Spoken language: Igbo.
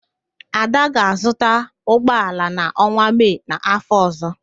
Ada ga-azụta ụgbọala n'ọnwa Mee n'áfọ̀ ọ̀zọ́.